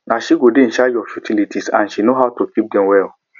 na she go dey in charge of the utilities and she no how to keep dem well